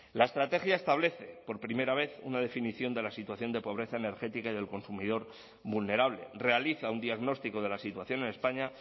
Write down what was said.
la estrategia establece por primera vez una definición de la situación de pobreza energética y del consumidor vulnerable realiza un diagnóstico de la situación en españa